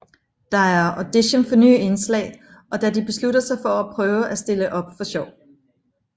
Der er audition for nye indslag og da de beslutter sig for at prøve at stille op for sjov